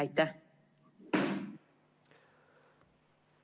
Aitäh!